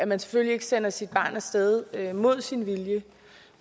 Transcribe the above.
man selvfølgelig ikke sender sit barn af sted mod dets vilje